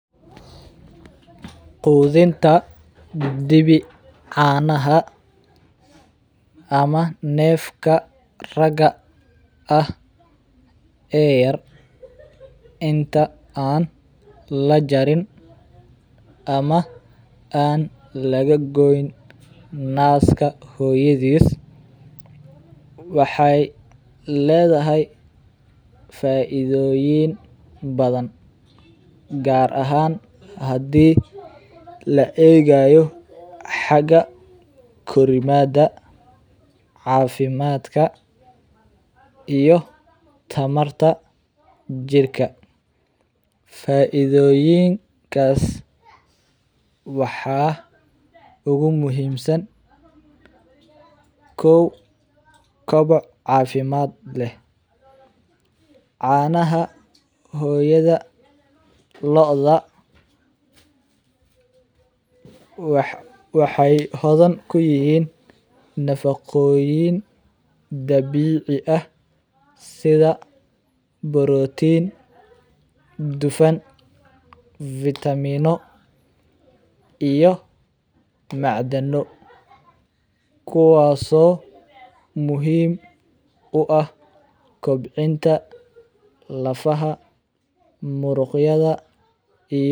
Quudinta dibi caanaha ama neefka raaga ah ee yar inta aan lajaarin ama aan laga gooyin naaska hooyadis waxey ladahay faaiidoyin badan gaar ahaan hadi laa egaayo haka korimaada cafimadka iyo tamaarta jirka faaiidoyinkaas waxa ugu muhimsan kow koba cafimad leh caanaha hooyada looda waxey hodhan kuyihin nafaacoyin dabiici ah sidhaa Protein dufaan Vitamin iyo macdaano kuwaaso muhim uaah kobciinta lafaaha muryadha iyo.